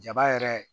Jaba yɛrɛ